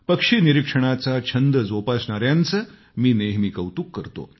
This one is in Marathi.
पक्षी निरीक्षणाचा छंद जोपासणायांचं मी नेहमी कौतुक करतो